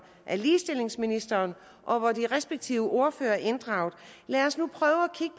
af ligestillingsministeriet og hvor de respektive ordførere er inddraget lad os nu prøve